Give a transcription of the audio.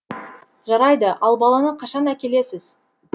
жарайды ал баланы қашан әкелесіз